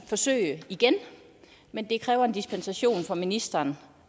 forsøge igen men det kræver en dispensation fra ministeren